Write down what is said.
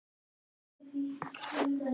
Og reiður Guði sínum.